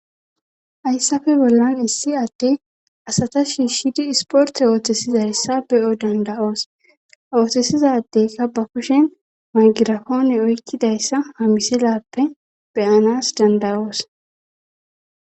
Hayssafe bollan issi atte asata shiishidi isporte ooththesiza hessa be'o danda'oos oothesizadeka ba kushen magirafoone oykkidayssa hamiselappe beyanas dandayoos.